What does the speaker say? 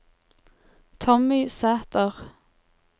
Tommy Sæther